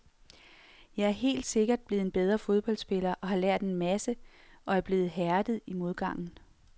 Jeg er helt sikkert blevet en bedre fodboldspiller og har lært en masse og er blevet hærdet i modgangen.